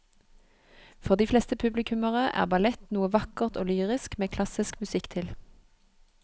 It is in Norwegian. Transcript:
For de fleste publikummere er ballett noe vakkert og lyrisk med klassisk musikk til.